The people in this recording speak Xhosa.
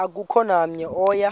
akukho namnye oya